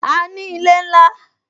A ní ilé ńlá